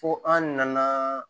Fo an nana